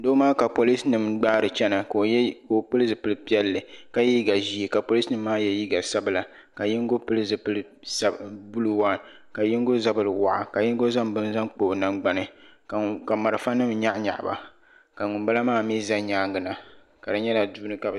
Doo maa ka Polisinima gbaari n chana ka o pili zipil piɛlli ka ye liiga ʒee ka polisi nima maa ye liiga sabla ka yingo zipil buluu ka yingo zabri waɣa ka zaŋ bini zaŋ kpa o nangbani ka malifa nima nyaɣi nyaɣi ba ka ŋunbala maa mi za nyaanga na ka di nyɛla duuni ka bɛ be.